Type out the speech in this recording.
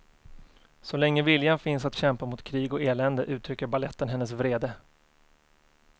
Så länge viljan finns att kämpa mot krig och elände uttrycker baletten hennes vrede.